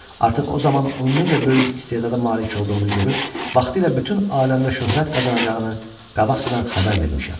Artıq o zaman onun necə böyük istedada malik olduğunu görüb, vaxtilə bütün aləmdə şöhrət qazanacağını qabaqcadan xəbər vermişəm.